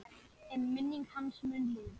En minning hans mun lifa.